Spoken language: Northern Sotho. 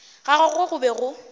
ga gagwe go be go